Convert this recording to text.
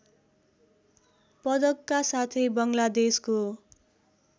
पदकका साथै बङ्गलादेशको